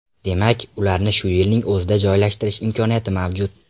Demak, ularni shu yilning o‘zida joylashtirish imkoniyati mavjud.